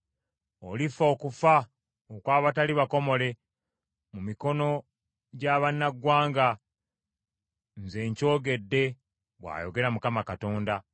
Olifa okufa okw’abatali bakomole, mu mikono gya bannaggwanga, nze nkyogedde, bw’ayogera Mukama Katonda.”